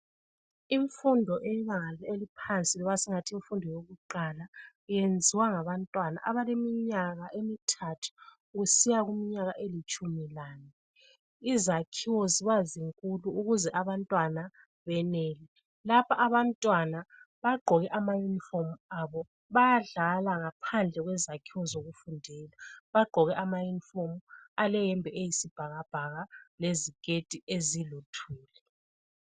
Imfundo eyebanga eliphansi loba singathi yimfundo yokuqala yenziwa ngabantwana abaleminyaka emithathu kusiya kuminyaka elitshumi lane. Izakhiwo ziba zinkulu ukuze abantwana benele. Lapha abantwana bagqoke amayunifomu abo bayadlala ngaphandle kwezakhiwo zabo zokufundela. Bagqoke amaUniform aleyembe eyisibhakabhaka leziketi ezilithuli.